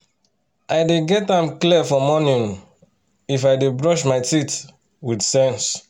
i dey get am clear for morning um if i dey brush my mouth with sense